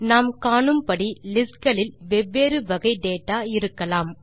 நாம் காணும்படி லிஸ்ட் களில் வெவ்வேறு வகை டேட்டா இருக்கலாம்